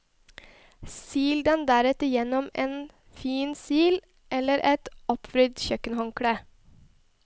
Sil den deretter gjennom en fin sil eller et oppvridd kjøkkenhåndkle.